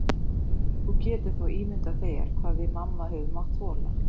Þú getur þá ímyndað þér hvað við mamma höfum mátt þola.